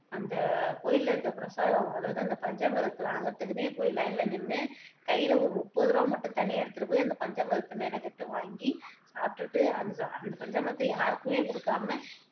அந்த கோயில்ல இருக்க பிரசாதம் அதாவது அந்த பஞ்சாமிர்தத்தை வாங்குறதுக்குன்னே போயி லைன்ல நின்னு கையில ஒரு முப்பது ரூபா மட்டும் தனியா எடுத்துட்டு போயி அந்த பஞ்சாமிர்தத்தை மெனக்கெட்டு வாங்கி சாப்பிட்டுட்டு அந்த அந்த பஞ்சாமிர்தத்தை யாருக்குமே குடுக்காம